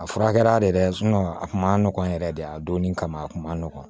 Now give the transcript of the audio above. A fura kɛra de dɛ a kun ma nɔgɔn yɛrɛ de a donnen kama a kun ma nɔgɔn